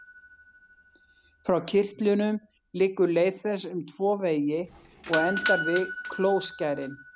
Frá kirtlunum liggur leið þess um tvo vegi og endar við klóskærin.